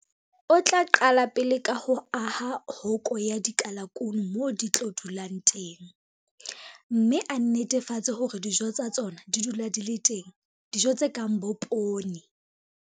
O tla qala pele ka ho aha hoko ya dikalakuno moo di tlo dulang teng, mme a netefatse hore dijo tsa tsona di dula di le teng, dijo tse kang bo poone.